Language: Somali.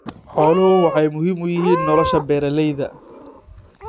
Xooluhu waxay muhiim u yihiin nolosha beeralayda.